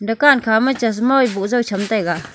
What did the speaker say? dukaan kha ma chasma wai bujao cham taiga .